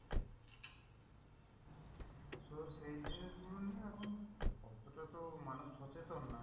So সেই জিনিস গুলো নিয়ে এখন ওটা তো মানুষ সচেতন না,